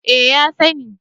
Eh ya sani